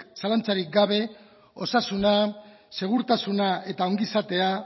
zalantzarik gabe osasuna segurtasuna eta ongizatea